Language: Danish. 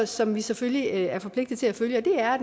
som vi selvfølgelig er forpligtet til at følge og det er at